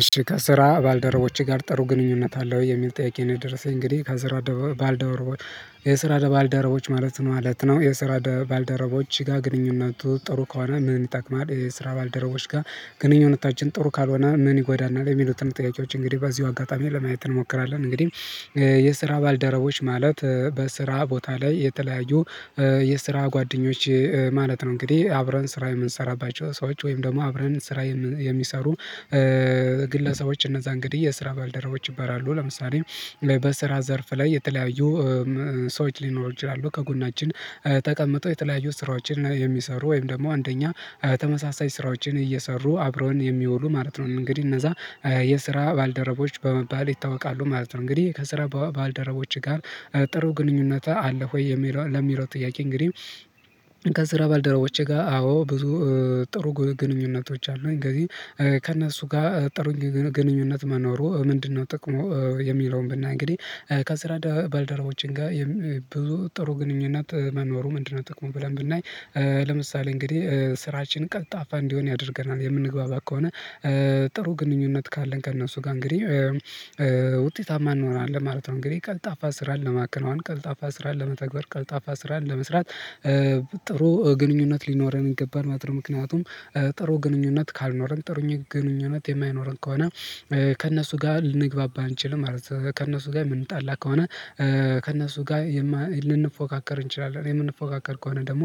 እሺ ከስራ ባልደረቦቼ ጋር ጥሩ ግንኙነት አለህ ወይ የሚል ጥያቄ ነው? የደረሰኝ እንግዲህ ከስራ ደባል ባልደረቦች የስራ ደባል ደረቦች ማለት ነው ማለት ነው የስራ ባልደረቦች ጋር ግንኙነቱ ጥሩ ከሆነ ምን ይጠቅማል የስራ ባልደረቦች ጋር ግንኙነታችን ጥሩ ካልሆነ ምን ይጎዳናል የሚሉትን ጥያቄዎች እንግዲህ በዚሁ አጋጣሚ ለማየት እንሞክራለን። እንግዲህ የስራ ባልደረቦች ማለት በስራ ቦታ ላይ የተለያዩ የስራ ጓደኞች ማለት ነው። እንግዲህ አብረን ስራ የምንሰራባቸው ሰዎች ወይም ደግሞ አብረን ስራ የሚሰሩ ግለሰቦች እነዛ እንግዲህ የስራ ባልደረቦች ይባላሉ። ለምሳሌ በስራ ዘርፍ ላይ የተለያዩ ሰዎች ሊኖሩ ይችላሉ ከጎናችን ተቀምጠው የተለያዩ ስራዎችን የሚሰሩ ወይም ደግሞ እንደኛ ተመሳሳይ ስራዎችን እየሰሩ አብረውን የሚውሉ ማለት ነው። እንግዲህ እነዛ የስራ ባልደረቦች በመባል ይታወቃሉ ማለት ነው። እንግዲህ ከስራ ባልደረቦች ጋር ጥሩ ግንኙነት አለ ወይ የሚለው ለሚለው ጥያቄ እንግዲህ ከስራ ባልደረቦቼ ጋር አዎ ብዙ ጥሩ ግንኙነቶች አሉኝ። እንግዲህ ከእነሱ ጋር ጥሩ ግንኙነት መኖሩ ምንድነው ጥቅሙ? የሚለውን ብናይ እንግዲህ ከስራ ባልደረባችን ጋር ብዙ ጥሩ ግንኙነት መኖሩ ምንድነው ጥቅሙን ብለን ብናይ ለምሳሌ እንግዲህ ስራችን ቀልጣፋ እንዲሆን ያደርገናል የምንግባባ ከሆነ ጥሩ ግንኙነት ካለን ከእነሱ ጋር እንግዲህ ውጤታማ እንኖናለን ማለት ነው። እንግዲህ ቀልጣፋ ስራን ለማክናዋን ቀልጣፋ ስራን ለመተግበር ቀልጣፋ ስራን ለመስራት ጥሩ ግንኙነት ሊኖረን ይገባል። ማለት ምክንያቱም ጥሩ ግንኙነት ካልኖረን ጥሩ ግንኙነት የማይኖረን ከሆነ ከእነሱ ጋር ልንግባባ አንችልም ማለት ነው። ከእነሱ ጋር የምንጣላ ከሆነ ከእነሱ ጋር ልንፎካከር እንችላለን የምንፎካከር ከሆነ ደግሞ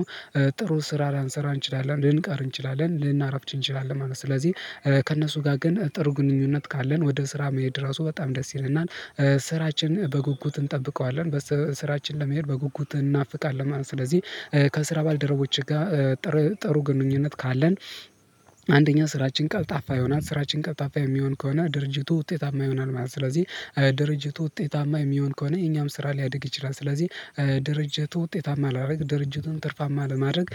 ጥሩ ስራ ላንሰራ እንችላለን ልንቀር እንችላለን ልናረፍድ እንችላለን ማለት ነው። ስለዚህ ከእነሱ ጋር ግን ጥሩ ግንኙነት ካለን ወደ ስራ መሄድ ራሱ በጣም ደስ ይለናል ስራችን በጉጉት እንጠብቀዋለን ስራችን ለመሄድ በጉጉት እናፍቃለን ማለት ነው። ስለዚህ ከስራ ባልደረቦች ጋር ጥሩ ግንኙነት ካለን አንደኛ ስራችን ቀልጣፋ ይሆናል ስራችን ቀልጣፋ የሚሆን ከሆነ ድርጅቱ ውጤታማ ይሆናል ማለት ነው። ስለዚህ ድርጅቱ ውጤታማ የሚሆን ከሆነ የኛም ስራ ሊያድግ ይችላል። ስለዚህ ድርጅቱ ውጤታማ ለማድረግ ድርጅቱን ትርፋማ ለማድረግ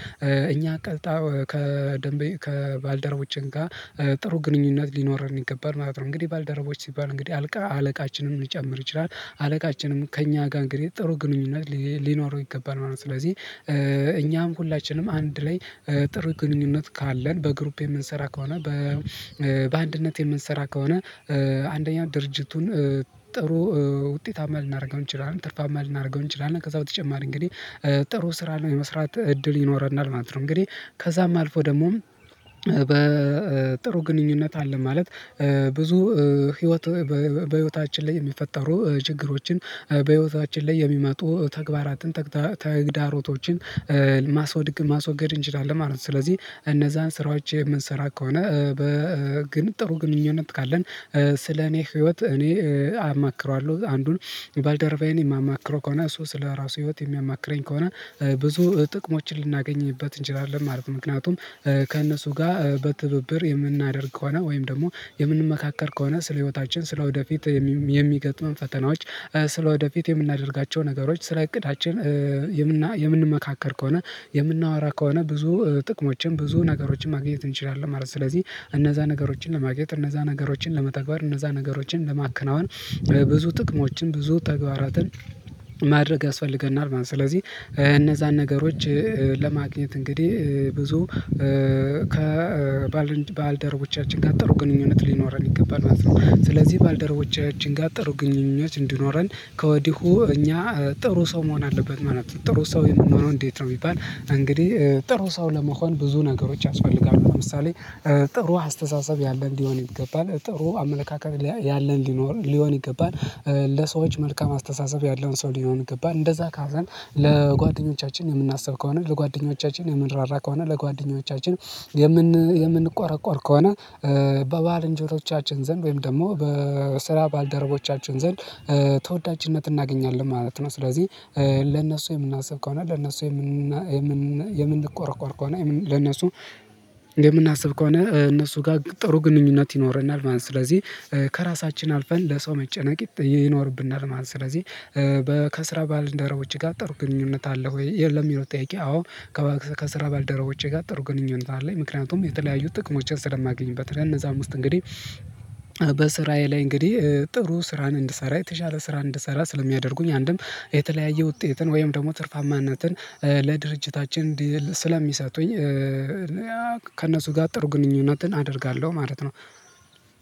እኛ ቀጥታ ከደንበይ ከባልደረቦችን ጋር ጥሩ ግንኙነት ሊኖር የሚገባን ማለት ነው። እንግዲህ ባልደረቦች ሲባል እንግዲህ አልቃ አለቃችንን ሊጨምር ይችላል አለቃችንም ከእኛ ጋር እንግዲህ ጥሩ ግንኙነት ሊኖረው ይገባል ማለት ነው። ስለዚህ እኛም ሁላችንም አንድ ላይ ጥሩ ግንኙነት ካለን በግሩፕ የምንሰራ ከሆነ በአንድነት የምንሰራ ከሆነ አንደኛው ድርጅቱን ጥሩ ውጤታማ ልናደርገው እንችላለን ትርፋማ ልናደርገው እንችላለን ከዛ በተጨማሪ እንግዲህ ጥሩ ስራ የመስራት እድል ይኖረናል ማለት ነው። እንግዲህ ከዛም አልፎ ደግሞ በጥሩ ግንኙነት አለ ማለት ብዙ ህይወት በህይወታችን ላይ የሚፈጠሩ ችግሮችን በህይወታችን ላይ የሚመጡ ተግባራትን ተግዳሮቶችን ማስወድቅ ማስወገድ እንችላለን ማለት ነው። ስለዚህ እነዛን ስራዎች የምንሰራ ከሆነ በግን ጥሩ ግንኙነት ካለን ስለ እኔ ህይወት እኔ አማክረዋለሁ አንዱን ባልደረባዬን የማማክረው ከሆነ እሱ ስለራሱ ህይወት የሚያማክረኝ ከሆነ ብዙ ጥቅሞችን ልናገኝበት እንችላለን ማለት ነው። ምክንያቱም ከእነሱ ጋር በትብብር የምናደርግ ከሆነ ወይም ደግሞ የምንመካከር ከሆነ ስለ ህይወታችን ስለ ወደፊት የሚገጥሙን ፈተናዎች ስለ ወደፊት የምናደርጋቸው ነገሮች ስለ እቅዳችን የምንመካከር ከሆነ የምናወራ ከሆነ ብዙ ጥቅሞችን ብዙ ነገሮችን ማግኘት እንችላለን ማለት ነው። ስለዚህ እነዛ ነገሮችን ለማግኘት እነዛ ነገሮችን ለመተግበር እነዛ ነገሮችን ለማከናወን ብዙ ጥቅሞችን ብዙ ተግባራትን ማድረግ ያስፈልገናል ማለት ነው። ስለዚህ እነዛን ነገሮች ለማግኘት እንግዲህ ብዙ ከባልደረቦቻችን ጋር ጥሩ ግንኙነት ሊኖረን ይገባል ማለት ነው። ስለዚህ ባልደረቦቻችን ጋር ጥሩ ግንኙነት እንዲኖረን ከወዲሁ እኛ ጥሩ ሰው መሆን አለበት ማለት ነው። ጥሩ ሰው የምንኖነው እንዴት ነው? የሚባል እንግዲህ ጥሩ ሰው ለመሆን ብዙ ነገሮች ያስፈልጋለሁ ለምሳሌ ጥሩ አስተሳሰብ ያለ እንዲሆን ይገባል ጥሩ አመለካከት ያለን ሊኖር ሊሆን ይገባል ለሰዎች መልካም አስተሳሰብ ያለውን ሰው ሊሆን ገባ እንደዛ ካለን ለጓደኞቻችን የምናስብ ከሆነ ለጓደኞቻችን የምንራራ ከሆነ ለጓደኞቻችን የምን የምንቆረቆር ከሆነ በባልንጀሮቻችን ዘንድ ወይም ደግሞ በስራ ባልደረቦቻችን ዘንድ ተወዳጅነት እናገኛለን ማለት ነው። ስለዚህ ለነሱ የምናስብ ከሆነ ለነሱ የምን የምን የምን የምንቆረቆር ከሆነ ለነሱ የምናስብ ከሆነ እነሱ ጋር ጥሩ ግንኙነት ይኖረናል ማለት ነው። ስለዚህ ከራሳችን አልፈን ለሰው መጨነቅ ይኖርብናል ማለት ነው። ስለዚህ በከስረ ባልደረቦች ጋር ጥሩ ግንኙነት አለ ወይ ለሚለው ጥያቄ? አዎ ከስራ በልደረቦቼ ጋር ጥሩ ግንኙነት አለኝ ምክንያቱም የተለያዩ ጥቅሞችን ስለማገኝበት እነዛ ከነዛም ዉስጥ እንግዲህ በስራዬ ላይ እንግዲህ ጥሩ ስራን እንድሰራ የተሻለ ስራን እንድሰራ ስለሚያደርጉኝ አንድም የተለያየ ውጤትን ወይም ደግሞ ትርፋማነትን ለድርጅታችን ስለሚሰጡኝ ከእነሱ ጋር ጥሩ ግንኙነትን አደርጋለሁ ማለት ነው።